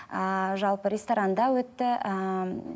ыыы жалпы ресторанда өтті ыыы